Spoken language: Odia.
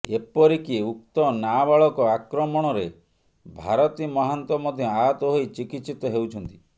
ଏପରିକି ଉକ୍ତ ନାବାଳକ ଆକ୍ରମଣରେ ଭାରତୀ ମହାନ୍ତ ମଧ୍ୟ ଆହତ ହୋଇ ଚିକିତ୍ସିତ ହେଉଛନ୍ତି